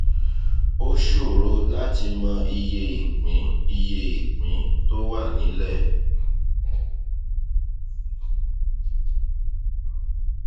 ó ṣòro láti mọ iye ìpín iye ìpín tó wà nílẹ